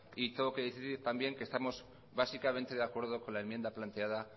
y tengo que decir también que estamos básicamente de acuerdo con la enmienda planteada